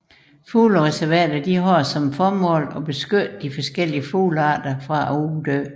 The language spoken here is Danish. Fuglereservater har som formål at beskytte de forskellige fuglearter fra at uddø